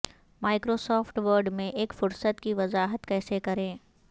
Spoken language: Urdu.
مائیکروسافٹ ورڈ میں ایک فہرست کی وضاحت کیسے کریں